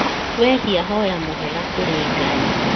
Wehia hoya mũhera kũrĩ Ngai